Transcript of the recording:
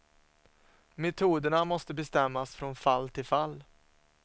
Metoderna måste bestämmas från fall till fall.